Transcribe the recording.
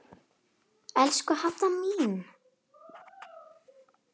Elsku Hadda mín.